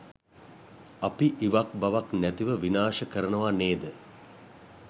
අපි ඉවක් බවක් නැතිව විනාශ කරනවා නේද?